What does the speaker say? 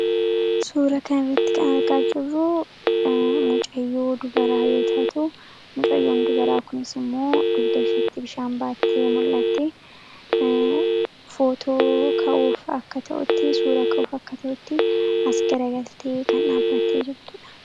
Suura kana irratti kan argaa jirruu mucayyoo dubaraa yoo taatu mucayyoon dubaraa kunis immoo dugda ishiitti bishaan baattee mul'atti footoo ka'uuf akka ta'utti suura ka'uuf akka ta'utti as garagaltee kan dhaabattee jirtudha.